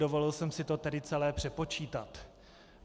Dovolil jsem si to tedy celé přepočítat.